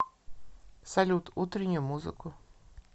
салют утреннюю музыку